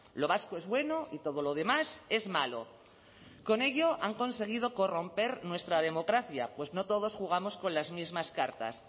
lo vasco es bueno y todo lo demás es malo con ello han conseguido corromper nuestra democracia pues no todos jugamos con las mismas cartas